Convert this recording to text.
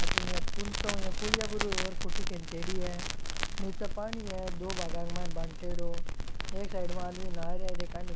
अठीने या तो कुंचो या पुलिया पर हु र फोटो खिंचेडी है नीचे पानी है दो भागा के मायने बांटयोड़ो एक साइड में आदमी नहा रिया है एकानी --